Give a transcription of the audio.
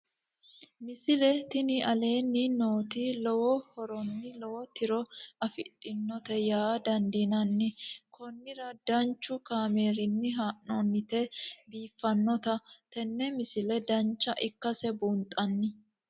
misile tini aleenni nooti lowo horonna lowo tiro afidhinote yaa dandiinanni konnira danchu kaameerinni haa'noonnite biiffannote tini misile dancha ikkase buunxanni